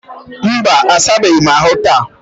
mba, a sabeghị ahụ taa.